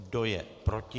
Kdo je proti?